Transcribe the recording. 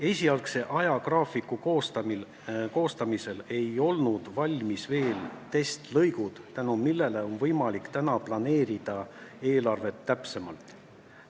Esialgse ajagraafiku koostamisel ei olnud veel testlõigud valmis, nüüd aga on võimalik eelarvet täpsemalt planeerida.